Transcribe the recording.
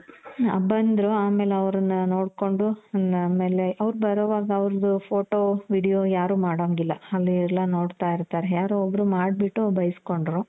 ಬಂದ್ರೂ ಆಮೇಲೆ ಅವ್ರನ್ನ ನೋಡ್ಕೊಂಡು ಆಮೇಲೆ ಅವ್ರ್ ಬರೋವಗ ಅವ್ರ್ದು photo video ಯಾರು ಮಾಡೊಂಗಿಲ್ಲ ಅಲ್ಲಿ ಎಲ್ಲ ನೋಡ್ತಾ ಇರ್ತಾರೆ. ಯಾರೋ ಒಬ್ರು ಮಾಡ್ಬಿಟ್ಟು ಬೈಸ್ಕೊಂನ್ಡ್ರು .